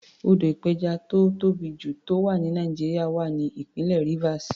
Odò ìpẹjà tó tóbì jù tó wà ní Nàìjíríà wà ní ìpínlẹ̀ Rivers.